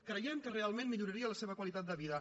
creiem que realment milloraria la seva qualitat de vida